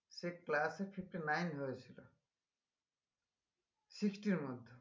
সে class এ fifty-nine হয়েছিল sixty এর মধ্যে